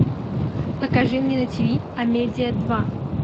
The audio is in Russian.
покажи мне на тиви амедиа два